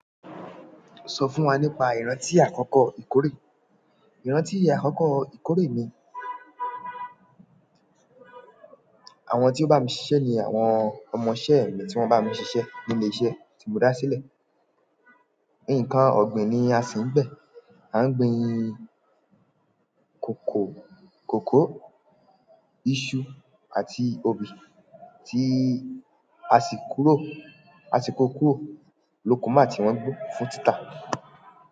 Sọ fún wa nípa ìrántí àkọ́kọ́ ìkórè. Ìrántí àkọ́kọ́ ìkórè mi, àwọn tí ó bá mi ṣiṣẹ́ ni àwọn ọmọṣẹ́ mi tí wọ́n bá mi ṣiṣẹ́ ní ilé-iṣẹ́ tí mo dá sílẹ̀. Nǹkan ọ̀gbìn ni a si ń gbìn. A ń gbin kòkó, iṣu àti obì tí a sì kúrò, a sì kó kúrò lóko nígbà tí wọ́n gbó fún títà.